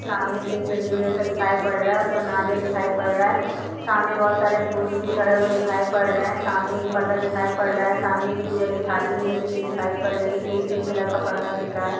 सामने तीन पिंडियो जैसा दिखाई पड़ रहा है उसपे नारियल दिखाई पड़ रहा है। सामने बहुत सारे फ्रूट्स भी चढ़े हुए दिखाई पड़ रहे है सामने एक पर्दा दिखाई पड़ रहा है सामने एक पूजा की थाली भी रखी हुई दिखाई पड़ रही है एक पिंक कलर का पर्दा दिख रहा है।